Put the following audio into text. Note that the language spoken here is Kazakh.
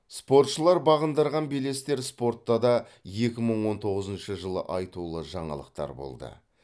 спортшылар бағындырған белестер спортта да екі мың он тоғызыншы жылы айтулы жаңалықтар болды